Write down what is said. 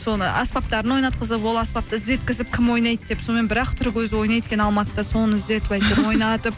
соны аспаптарын ойнатқызып ол аспапты іздеткізіп кім ойнайды деп сонымен бір ақ түрік өзі ойнайды екен алматыда соны іздетіп әйтеуір ойнатып